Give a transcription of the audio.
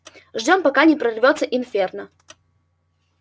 ждём пока не прорвётся инферно